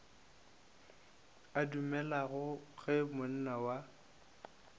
a dumelago ge monna wa